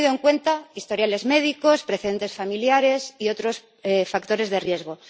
habían tenido en cuenta historiales médicos, precedentes familiares y otros factores de riesgo.